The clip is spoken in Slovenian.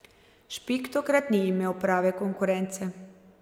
Špik tokrat ni imel prave konkurence.